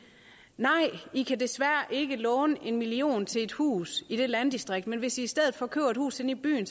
nej i kan desværre ikke låne en million kroner til et hus i det landdistrikt men hvis i i stedet for køber et hus inde i byen